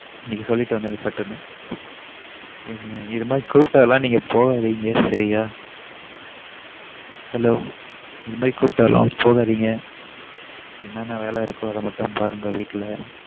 நீங்க சொல்லிடு வந்துடுங்க சட்டுனு இந்த மாரி groups கூடலாம் போகதிங்க சரியா hello என்ன என்ன வேல இருகோ அத மட்டும் பாருங்க வீட்டுல